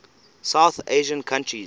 south asian countries